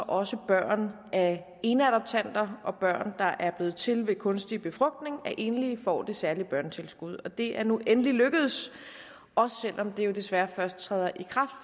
også børn af eneadoptanter og børn der er blevet til ved kunstig befrugtning af enlige får det særlige børnetilskud det er nu endelig lykkedes også selv om det desværre først træder i kraft